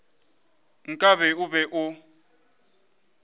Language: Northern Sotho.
nka be o be o